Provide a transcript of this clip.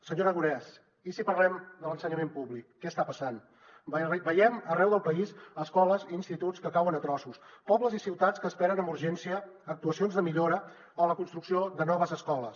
senyor aragonès i si parlem de l’ensenyament públic què està passant veiem arreu del país escoles i instituts que cauen a trossos pobles i ciutats que esperen amb urgència actuacions de millora o la construcció de noves escoles